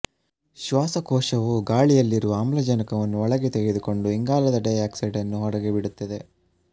ಶ್ವಾಸಕೋಶವು ಗಾಳಿಯಲ್ಲಿರುವ ಆಮ್ಲಜನಕವನ್ನು ಒಳಗೆ ತೆಗೆದುಕೊಂಡು ಇಂಗಾಲದ ಡೈಆಕ್ಸೈಡನ್ನು ಹೊರಗೆ ಬಿಡುತ್ತದೆ